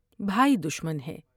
بھائی دشمن ہے ۔۔